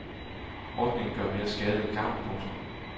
Ordningen gør mere skade end gavn. punktum